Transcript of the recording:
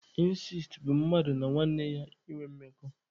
Ịnsest bụ mmadụ na nwanne ya ịnwe mmekọ.